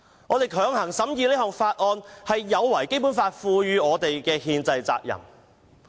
"我們強行審議《條例草案》，是有違《基本法》賦予我們的憲制責任。